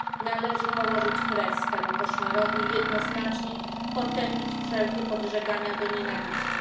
Należy położyć kres temu koszmarowi i jednoznacznie potępić wszelkie podżegania do nienawiści.